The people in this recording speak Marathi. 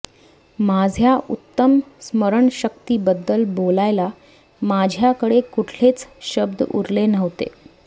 माझ्या उत्तम स्मरणशक्तीबद्दल बोलायला माझ्याकडे कुठलेच शब्द उरले नव्हते